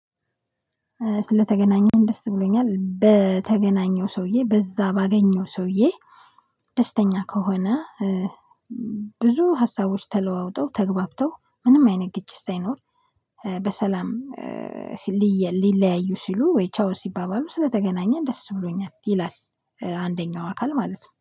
ስለተገናኘን ደስ ብሎኛል። በተገናኘው ሰውዬ በዛ ባገኘው ሰውዬ ደስተኛ ከሆነ ብዙ ሀሳቦች ተለዋውጠው ተግባብተው ምንም አይነት ግጭት ሳይኖር በሰላም ሊለያዩ ሲሉ ወይ ቻው ሲባባሉ ስለተገናኘን ደስ ብሎኛል ይላል። አንደኛው አካል ማለት ነው።